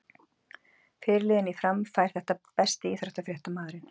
Fyrirliðinn í Fram fær þetta Besti íþróttafréttamaðurinn?